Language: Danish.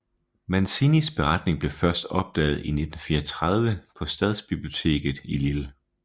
Mancinis beretning blev først opdaget i 1934 på stadsbiblioteket i Lille